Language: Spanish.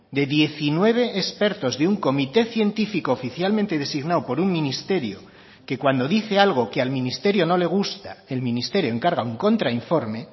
de diecinueve expertos de un comité científico oficialmente designado por un ministerio que cuando dice algo que al ministerio no le gusta el ministerio encarga un contrainforme